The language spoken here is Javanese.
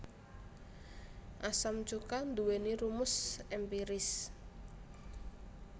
Asam cuka nduwèni rumus èmpiris